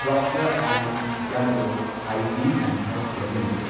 Procter and Gamble Hygiene and Health Care limited